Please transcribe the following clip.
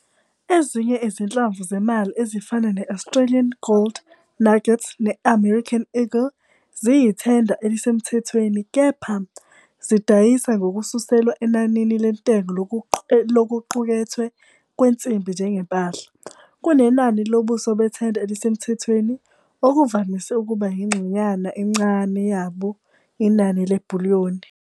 Ezinye izinhlamvu zemali ezifana ne- Australian Gold Nugget ne- American Eagle ziyithenda elisemthethweni, kepha, zidayisa ngokususelwa enanini lentengo lokuqukethwe kwensimbi njengempahla, kunenani lobuso bethenda elisemthethweni, okuvamise ukuba yingxenyana encane yabo inani le-bullion.